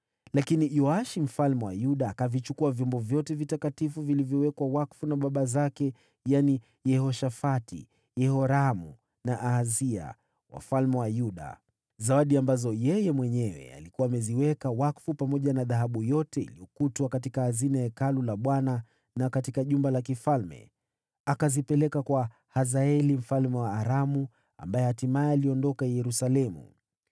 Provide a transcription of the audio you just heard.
Lakini Yoashi mfalme wa Yuda akavichukua vyombo vyote vitakatifu vilivyowekwa wakfu na baba zake, yaani Yehoshafati, Yehoramu na Ahazia, wafalme wa Yuda, zawadi ambazo yeye mwenyewe alikuwa ameziweka wakfu pamoja na dhahabu yote iliyokutwa katika hazina za Hekalu la Bwana na katika jumba la kifalme, akazipeleka kwa Hazaeli mfalme wa Aramu, ambaye hatimaye aliondoka Yerusalemu.